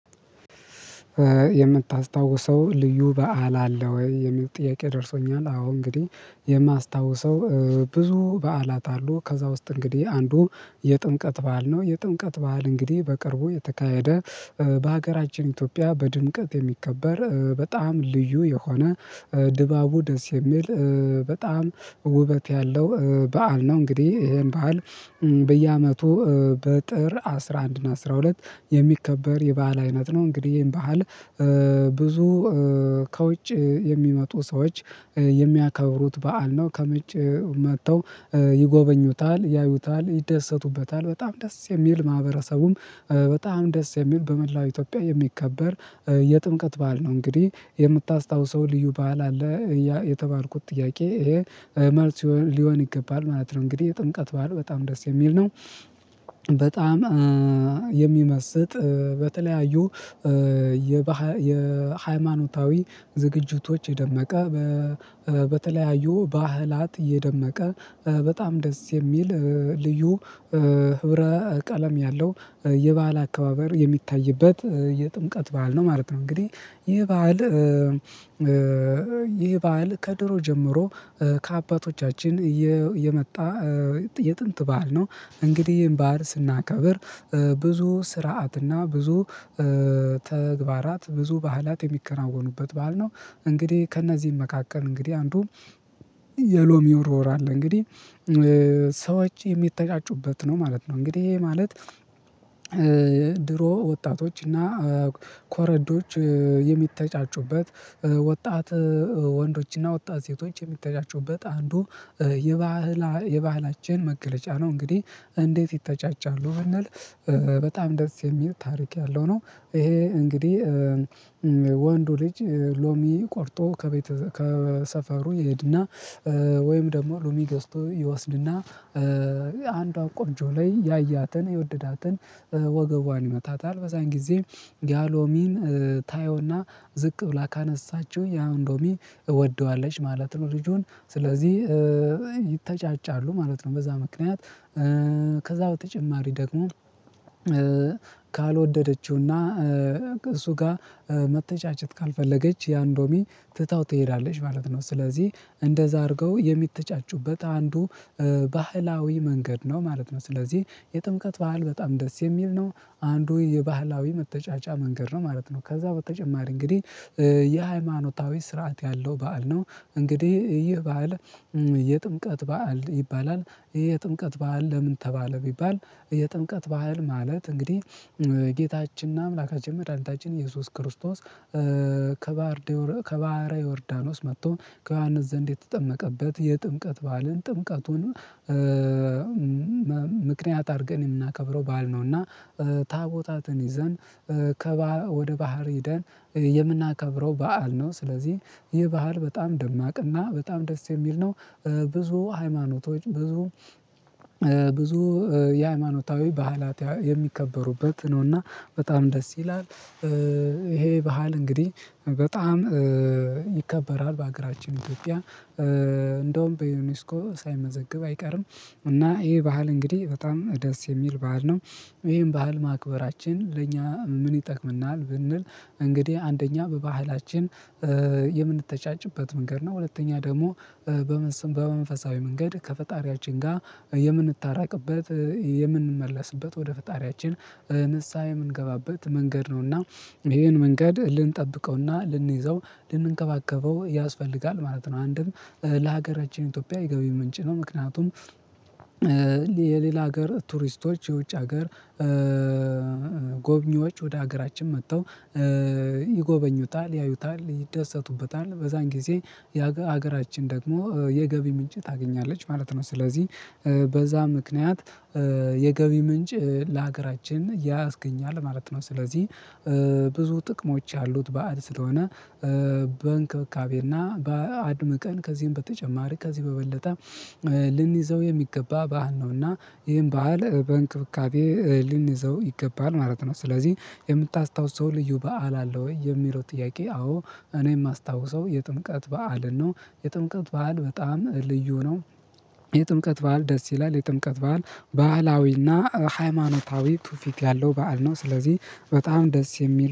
የምታስታውሰው ልዩ በዓል አለ ወይ የሚል ጥያቄ ደርሶኛል? አዎ እንግዲህ የማስታውሰው ብዙ በዓላት አሉ ከዛ ውስጥ እንግዲህ አንዱ የጥምቀት በዓል ነው። የጥምቀት በዓል እንግዲህ በቅርቡ የተካሄደ በሀገራችን ኢትዮጵያ በድምቀት የሚከበር በጣም ልዩ የሆነ ድባቡ ደስ የሚል በጣም ውበት ያለው በዓል ነው። እንግዲህ ይሄን በዓል በየአመቱ በጥር አስራ አንድ እና አስራ ሁለት የሚከበር የባህል አይነት ነው። እንግዲህ ይሄን ባህል ብዙ ከውጭ የሚመጡ ሰዎች የሚያከብሩት በዓል ነው። ከመጬ መጥተው ይጎበኙታል ያዩታል ይደሰቱበታል በጣም ደስ የሚል ማህበረሰቡም በጣም ደስ የሚል በመላው ኢትዮጵያ የሚከበር የጥምቀት በዓል ነው። እንግዲህ የምታስታውሰው ልዩ በዓል አለ? የተባልኩት ጥያቄ ይሄ መልስ ሊሆን ይገባል ማለት ነው። እንግዲህ ጥምቀት በዓል በጣም ደስ የሚል ነው። በጣም የሚመስጥ በተለያዩ የባህል የሃይማኖታዊ ዝግጅቶች የደመቀ በተለያዩ ባህላት የደመቀ በጣም ደስ የሚል ልዩ ህብረ ቀለም ያለው የባህል አከባበር የሚታይበት የጥምቀት በዓል ነው ማለት ነው። እንግዲህ ይሄ በዓል ይሄ በዓል ከድሮ ጀምሮ ከአባቶቻችን የመጣ የጥንት በዓል ነው። እንግዲህ ይሄን ባህል ስናከብር ብዙ ስርዓትና ብዙ ተግባራት ብዙ ባህላት የሚከናወኑበት ባል ነው። እንግዲህ ከእነዚህም መካከል እንግዲህ አንዱ የሎሚ ውርወራ አለ። እንግዲህ ሰዎች የሚተጫጩበት ነው ማለት ነው። እንግዲህ ይሄ ማለት ወጣቶችና ኮረዶች የሚተጫጩበት ወጣት ወንዶችና ወጣት ሴቶች የሚተጫጩበት አንዱ የባህላ የባህላችን መገለጫ ነው። እንግዲህ እንዴት ይተጫጫሉ ብንል በጣም ደስ የሚል ታሪክ ያለው ነው። ይሄ እንግዲህ ወንዱ ልጅ ሎሚ ቆርጦ ከቤት ከሰፈሩ ይሄድና ወይም ደግሞ ሉሚ ገዝቶ ይወስድና አንዷ ቆንጆ ላይ ያያትን የወደዳትን ወገቧን ይመታታል በዛን ጊዜ ያሎሚን ታየውና ዝቅ ብላ ካነሳችው ያን ሎሚ እወደዋለች ማለት ነው። ልጁን ስለዚህ ይተጫጫሉ ማለት ነው። በዛ ምክንያት ከዛ በተጨማሪ ደግሞ ካልወደደችውና እሱ ጋር መተጫጨት ካልፈለገች ያንሎሚ ትታው ትሄዳለች ማለት ነው። ስለዚህ እንደዛ አድርገው የሚተጫጩበት አንዱ ባህላዊ መንገድ ነው ማለት ነው። ስለዚህ የጥምቀት ባህል በጣም ደስ የሚል ነው አንዱ የባህላዊ መተጫጫ መንገድ ነው ማለት ነው። ከዛ በተጨማሪ እንግዲህ የሃይማኖታዊ ስርዓት ያለው በዓል ነው። እንግዲህ ይህ በዓል የጥምቀት በዓል ይባላል። ይሄ የጥምቀት በዓል ለምን ተባለ? ቢባል የጥምቀት ባህል ማለት እንግዲህ ጌታችንና አምላካችን መድኃኒታችን ኢየሱስ ክርስቶስ ከባህረ ዮርዳኖስ መጥቶ ከዮሐንስ ዘንድ የተጠመቀበት የጥምቀት ባልን ጥምቀቱን ምክንያት አድርገን የምናከብረው በዓል ነውና። ታቦታትን ይዘን ከባህር ወደ ባህር ሄደን የምናከብረው በዓል ነው። ስለዚህ ይህ ባህል በጣም ደማቅና በጣም ደስ የሚል ነው። ብዙ ሃይማኖቶች ብዙ ብዙ የሃይማኖታዊ ባህላት የሚከበሩበት ነውና በጣም ደስ ይላል። ይሄ ባህል እንግዲህ በጣም ይከበራል በሀገራችን ኢትዮጵያ እንደውም በዩኒስኮ ሳይመዘግብ አይቀርም። እና ይሄ ባህል እንግዲህ በጣም ደስ የሚል ባህል ነው። ይሄን ባህል ማክበራችን ለእኛ ምን ይጠቅምናል? ብንል እንግዲህ አንደኛ በባህላችን የምንተጫጭበት መንገድ ነው። ሁለተኛ ደግሞ በመንፈሳዊ መንገድ ከፈጣሪያችን ጋር የምንታረቅበት የምንመለስበት ወደ ፈጣሪያችን ንስሃ የምንገባበት መንገድ ነውና። ይሄን መንገድ ልንጠብቀውና ልንይዘው ልንንከባከበው ያስፈልጋል ማለት ነው። አንድም ለሀገር እጅን ኢትዮጵያ የገቢ ምንጭ ነው። ምክንያቱም የሌላ ሀገር ቱሪስቶች የውጭ ሀገር ጎብኚዎች ወደ ሀገራችን መጥተው ይጎበኙታል ያዩታል ይደሰቱበታል በዛን ጊዜ የሀገራችን ደግሞ የገቢ ምንጭ ታገኛለች ማለት ነው። ስለዚህ በዛ ምክንያት የገቢ ምንጭ ለሀገራችን ያስገኛል ማለት ነው። ስለዚህ ብዙ ጥቅሞች ያሉት በዓል ስለሆነ በእንክብካቤና በአድምቀን ከዚህም በተጨማሪ ከዚህ በበለጠ ልንይዘው የሚገባ በሀል ነውና። ይሄን በሀል በእንክብካቤ ልንይዘው ይገባል ማለት ነው። ስለዚህ የምታስታውሰው ልዩ በዓል አለ ወይ የሚለው ጥያቄ? አዎ እኔ የማስታውሰው የጥምቀት በዓልን ነው የጥምቀት በዓል በጣም ልዩ ነው። የጥምቀት በዓል ደስ ይላል የጥምቀት በዓል ባህላዊና ሃይማኖታዊ ቱፊት ያለው በዓል ነው። ስለዚህ በጣም ደስ የሚል